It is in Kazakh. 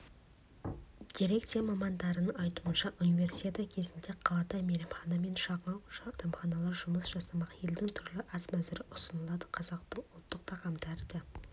дирекция мамандарының айтуынша универсиада кезінде қалада мейрамхана мен шағын дәмханалар жұмыс жасамақ елдің түрлі ас мәзірі ұсынылады қазақтың ұлттық тағамдары да